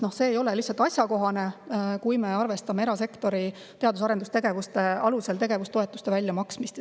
See ei ole lihtsalt asjakohane, kui me arvestame erasektori teadus- ja arendustegevuste alusel tegevustoetuste väljamaksmist.